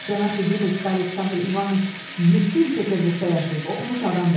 Cənab Yeqipetski Aleksandr İvanıç yeddi il Peterburqda yaşayıb oxumuş adamdır.